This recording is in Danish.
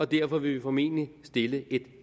derfor vil vi formentlig stille et